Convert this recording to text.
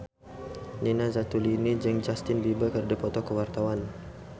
Nina Zatulini jeung Justin Beiber keur dipoto ku wartawan